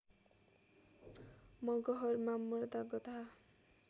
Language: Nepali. मगहरमा मर्दा गधा